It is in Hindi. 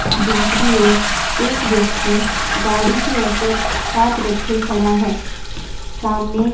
दूसरी ओर एक व्यक्ति गाड़ी के ऊपर हाथ रखे खड़ा है सामने--